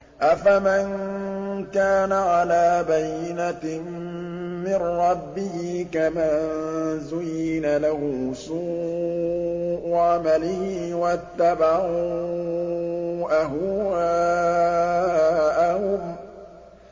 أَفَمَن كَانَ عَلَىٰ بَيِّنَةٍ مِّن رَّبِّهِ كَمَن زُيِّنَ لَهُ سُوءُ عَمَلِهِ وَاتَّبَعُوا أَهْوَاءَهُم